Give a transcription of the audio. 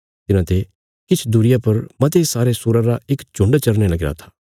तिन्हांते किछ दूरिया पर मते सारे सूराँ रा इक झुण्ड चरने लगीरा था